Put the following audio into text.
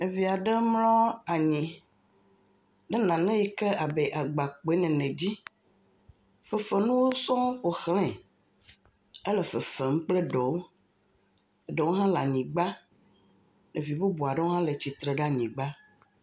Ɖevi aɖe mlɔ anyi le nane yike le abe agbakpoe nene dzi. Fefe nuwo sɔŋ ƒo xlɛ. Ele fefem kple eɖewo, eɖewo hã le anyigba. Ɖevi bubu aɖewo hã le tsitre ɖe anyigba.